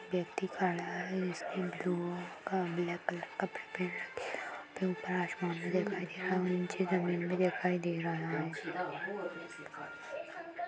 व्यक्ति खड़ा है जिसने ब्लू का और ब्लैक कलर का कपड़े पहने रखे है और निचे जमीन भी दिखाई दे रहा है।